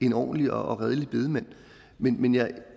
en ordentlig og redelig bedemand men men jeg